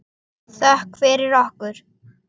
Þökk fyrir okkur.